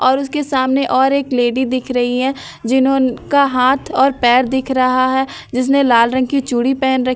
और उसके सामने और एक लेडी दिख रही है जिन्हों का हाथ और पैर दिख रहा है जिसने लाल रंग की चूड़ी पहन रखी --